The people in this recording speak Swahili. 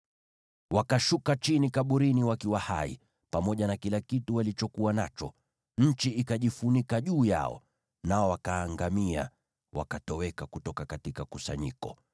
Wakashuka chini kaburini wakiwa hai, pamoja na kila kitu walichokuwa nacho; nchi ikajifunika juu yao, nao wakaangamia wakatoweka kutoka kusanyiko.